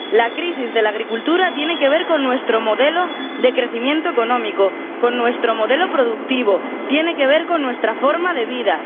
La crisis de la agricultura tiene que ver con nuestro modelo de crecimiento económico, con nuestro modelo productivo, tiene que ver con nuestra forma de vida.